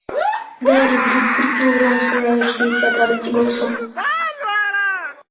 гарри вдруг крикнул рон срывающимся от радости голосом